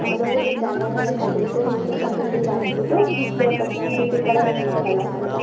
ಆಮೇಲೆ ಉರ್ಲಿ ಜನಗಳನೆಲ್ಲಾ ಕರ್ದ್ ಬಿಟ್ಟು ಊಟಕ್ ತಿಂಡಿಗ ಹಾಕ್ ಬಿಟ್ಟು ಬೆಡ್ ತರತ್ತೀನಿ ಸಿಟಿ ಕಡೆ ಹಿಂಗ್ ಮಾಡಲ್ಲಾ ಅನಗದ.